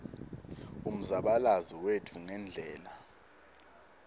umzabalazo wetfu ngendlela